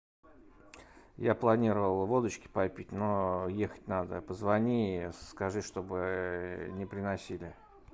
я планировал водочки попить но ехать надо позвони скажи чтобы не приносили